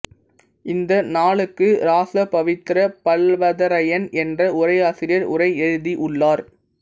இந்த நூலுக்கு இராச பவித்திரப் பல்லவதரையன் என்ற உரையாசிரியர் உரை எழுதி உள்ளார்